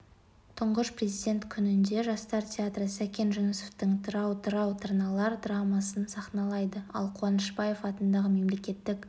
тұңғыш президент күнінде жастар театры сәкен жүнісовтың тырау тырау тырналар драмасын сахналайды ал қуанышбаев атындағы мемлекеттік